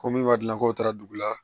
Ko min b'a dilan ko taara dugu la